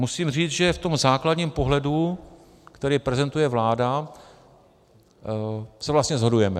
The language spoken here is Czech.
Musím říct, že v tom základním pohledu, který prezentuje vláda, se vlastně shodujeme.